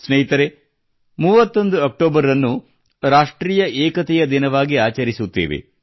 ಸ್ನೇಹಿತರೆ 31 ಅಕ್ಟೋಬರ್ ಅನ್ನು ರಾಷ್ಟ್ರೀಯ ಏಕತೆಯ ದಿನ ವಾಗಿ ಆಚರಿಸುತ್ತೇವೆ